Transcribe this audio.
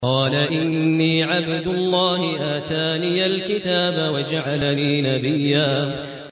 قَالَ إِنِّي عَبْدُ اللَّهِ آتَانِيَ الْكِتَابَ وَجَعَلَنِي نَبِيًّا